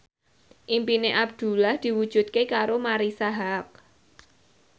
impine Abdullah diwujudke karo Marisa Haque